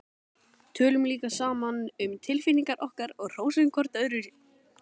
Tölum líka saman um tilfinningar okkar og hrósum hvort öðru.